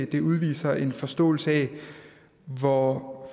det udviser en forståelse af hvor